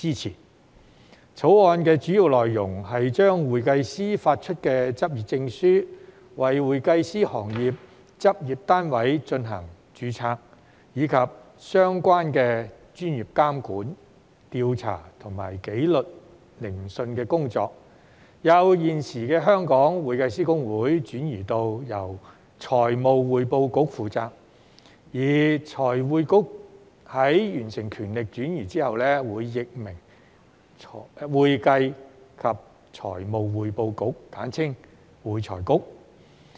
《條例草案》的主要內容是將向會計師發出執業證書、為會計師行業執業單位進行註冊，以及相關的專業監管、調査和紀律聆訊的工作，由現時的香港會計師公會轉移至由財務匯報局負責；而財匯局在完成權力轉移後，會易名為"會計及財務匯報局"。